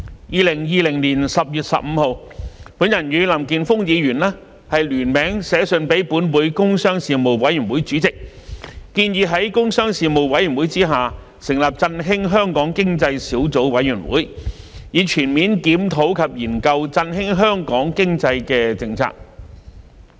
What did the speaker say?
2020年10月15日，我與林健鋒議員聯名致函立法會工商事務委員會主席，建議於工商事務委員會下成立振興香港經濟小組委員會，以全面檢討及研究振興香港經濟的政策。